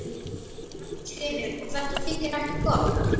Magnús Hlynur: Og þetta þykir ekki gott?